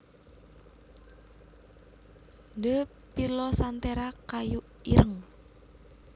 D pilosanthera kayu ireng